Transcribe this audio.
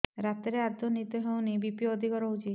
ରାତିରେ ଆଦୌ ନିଦ ହେଉ ନାହିଁ ବି.ପି ଅଧିକ ରହୁଛି